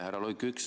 Härra Luik!